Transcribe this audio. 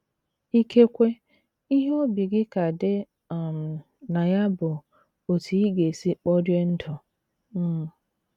Ikekwe ihe obi gị ka dị um na ya bụ otú ị ga - esi kporie ndụ. um